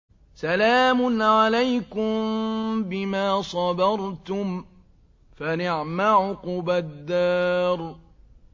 سَلَامٌ عَلَيْكُم بِمَا صَبَرْتُمْ ۚ فَنِعْمَ عُقْبَى الدَّارِ